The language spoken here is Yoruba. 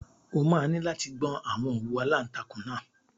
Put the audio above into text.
O máa ní láti gbọn àwọn òwú aláǹtakùn náà.